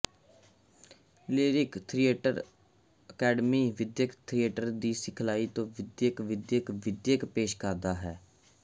lyric theatre academy ਵਿੱਦਿਅਕ theatre ਦੀ ਸਿਖਲਾਈ ਅਤੇ ਵਿੱਦਿਅਕ ਵਿੱਦਿਅਕ ਵਿੱਦਿਅਕ ਵਿੱਦਿਅਕ ਪੇਸ਼ ਕਰਦਾ ਹੈ